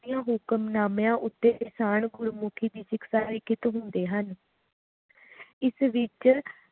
ਦੀਆਂ ਹੁਕਮਨਾਮਿਆਂ ਉੱਤੇ ਨਿਸ਼ਾਨ ਗੁਰਮੁਖੀ ਲਿਖਿਤ ਹੁੰਦੇ ਹਨ ਇਸ ਵਿਚ